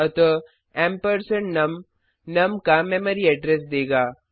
अतः ampersand num num का memory address देगा